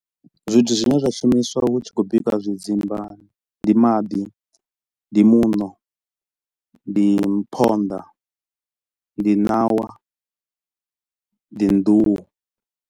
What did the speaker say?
Zwithu zwine zwa shumiswa hu tshi khou bika zwidzimba ndi maḓi, ndi muṋo, ndi hmm phonḓa, ndi ṋawa, ndi nḓuhu.